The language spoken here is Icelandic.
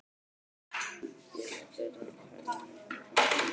Ég hef ekki verið að pæla neitt í framtíðinni.